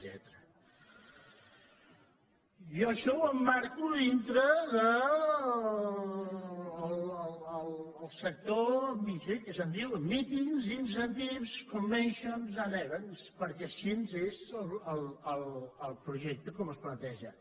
jo això ho emmarco dintre del sector mice que se’n diu meetings incentives conventions and eventsquè així és el projecte com es planteja